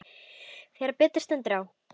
Þegar betur stendur á